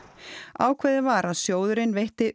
ákveðið var að sjóðurinn veitti